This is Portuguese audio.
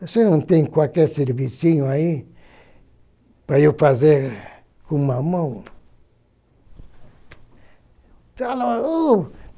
Você não tem qualquer servicinho aí para eu fazer com uma mão?